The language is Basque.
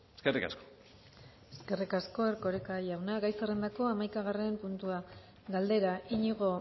eskerrik asko eskerrik asko erkoreka jauna gai zerrendako hamaikagarren puntua galdera iñigo